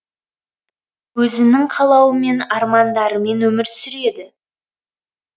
өзінің қалауымен арманыдарымен өмір сүреді